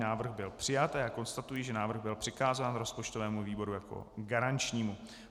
Návrh byl přijat a já konstatuji, že návrh byl přikázán rozpočtovému výboru jako garančnímu.